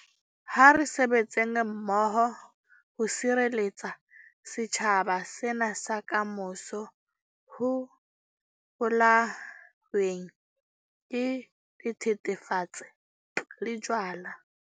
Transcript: Ha re sebetseng mmoho ho sireletsa setjhaba sena sa kamoso ho bolaweng ke dithethefatsi le jwala.